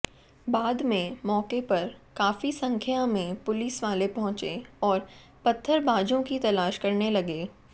बाद में मौके पर काफी संख्या में पुलिसवाले पहुंचे और पत्थरबाजों की तलाश करने लगे